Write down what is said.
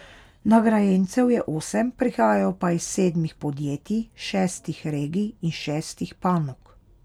Nagrajencev je osem, prihajajo pa iz sedmih podjetij, šestih regij in šestih panog.